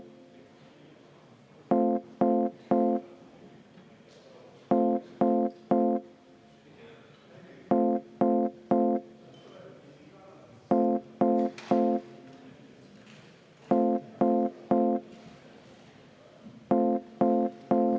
Ma palun seda muudatusettepanekut hääletada.